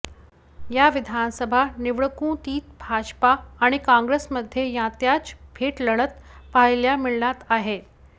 या विधानसभा निवडणुकीत भाजपा आणि काँग्रेसमध्ये यांच्यात थेट लढत पाहायला मिळणार आहे